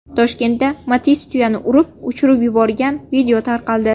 Toshkentda Matiz tuyani urib, uchirib yuborgan video tarqaldi.